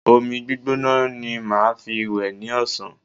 Omi gbígbóná ni màá fi wẹ̀ ní ọ̀sán